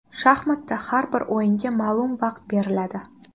Shaxmatda har bir o‘yinga ma’lum vaqt beriladi.